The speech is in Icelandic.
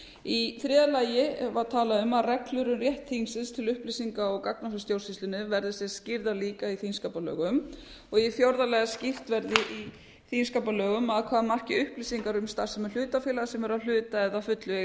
í þriðja lagi var talað um að reglur um rétt þingsins til upplýsinga og gagna frá stjórnsýslunni verði skýrðar líka í þingskapalögum í fjórða lagi að skýrt verði í þingskapalögum að hvaða marki upplýsingar um starfsemi hlutafélaga sem eru að hluta eða að fullu í eigu